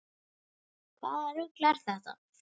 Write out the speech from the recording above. Hvaða rugl er þetta??